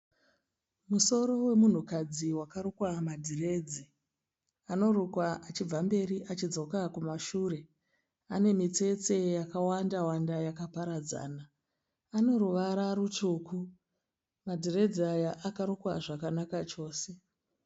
Musoro wemunhukadzi wakarukwa madhiredzi. Anorukwa achibva mberi achidzoka kumashure. Ane mitsetse yakawanda -wanda yakaparadzana. Anoruvara rutsvuku, madhiredzi aya akarukwa zvakanaka chose.